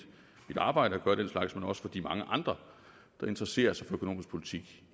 arbejde at gøre den slags men også for de mange andre der interesserer sig for økonomisk politik